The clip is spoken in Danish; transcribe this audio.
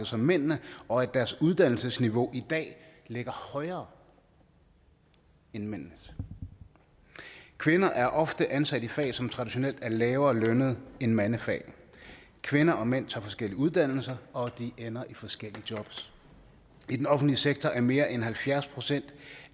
som mændene og at deres uddannelsesniveau i dag ligger højere end mændenes kvinder er ofte ansat i fag som traditionelt er lavere lønnet end mandefag kvinder og mænd tager forskellige uddannelser og de ender i forskellige jobs i den offentlige sektor er mere end halvfjerds procent